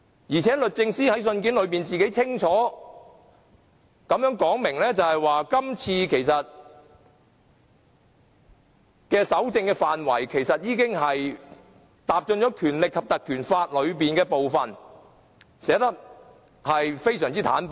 再者，律政司在信件裏清楚指出，今次搜證的範圍已經踏進了《立法會條例》的部分，寫得非常坦白。